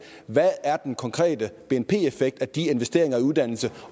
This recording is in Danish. hvad er den konkrete bnp effekt af de investeringer i uddannelse